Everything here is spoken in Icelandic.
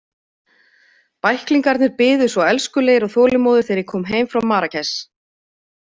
Bæklingarnir biðu svo elskulegir og þolinmóðir þegar ég kom heim frá Marrakesh.